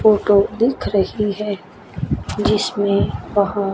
photo दिख रही है जिसमें बहो--